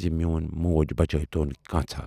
زِ میوٗن موج بچٲوۍتون کانژھا۔